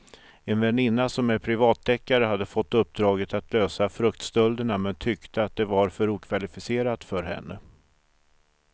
En väninna som är privatdeckare hade fått uppdraget att lösa fruktstölderna men tyckte att det var för okvalificerat för henne.